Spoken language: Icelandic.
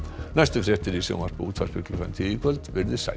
næstu fréttir í sjónvarpi og útvarpi klukkan tíu í kvöld veriði sæl